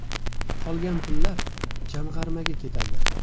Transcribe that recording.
Qolgan pullar jamg‘armaga ketadi.